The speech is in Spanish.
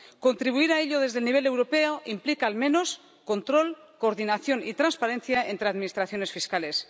Contribuir a ello desde el nivel europeo implica al menos control, coordinación y transparencia entre administraciones fiscales.